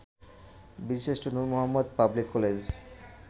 Birshreshtha Nur Mohammad public college